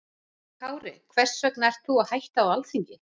Höskuldur Kári: Hvers vegna ert þú að hætta á Alþingi?